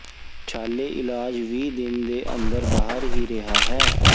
ਛਾਲੇ ਇਲਾਜ ਵੀਹ ਦਿਨ ਦੇ ਅੰਦਰ ਬਾਹਰ ਹੀ ਰਿਹਾ ਹੈ